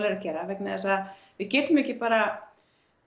eru að gera vegna þess að við getum ekki bara